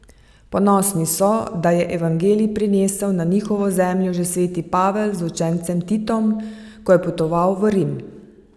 Ponosni so, da je evangelij prinesel na njihovo zemljo že sveti Pavel z učencem Titom, ko je potoval v Rim.